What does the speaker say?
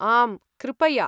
आम्, कृपया।